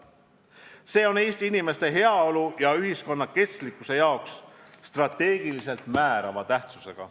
See on Eesti inimeste heaolu ja ühiskonna kestlikkuse seisukohalt strateegiliselt määrava tähtsusega.